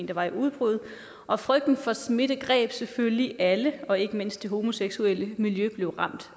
der var i udbrud og frygten for smitte greb selvfølgelig alle og ikke mindst det homoseksuelle miljø blev ramt